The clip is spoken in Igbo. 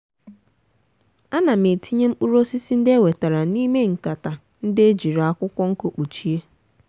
ana m etinye mkpụrụ osisi ndị e wetara n'ime nkata ndị e jiri akwụkwọ nkụ kpuchie.